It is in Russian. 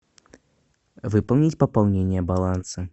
выполнить пополнение баланса